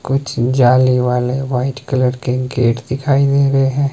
कुछ जाली वाले वाइट कलर के गेट दिखाई दे रहे हैं।